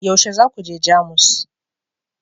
yaushe za ku je Jamus